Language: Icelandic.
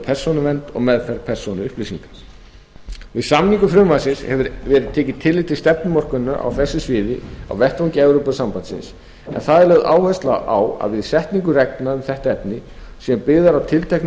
persónuvernd og meðferð persónuupplýsinga við samningu frumvarpsins hefur verið tekið tillit til stefnumörkunar á þessu sviði á vettvangi evrópusambandsins en þar er lögð áhersla á að við setningu reglna um þetta efni sem byggð er á tilteknum